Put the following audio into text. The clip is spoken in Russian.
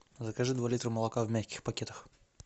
закажи два литра молока в мягких пакетах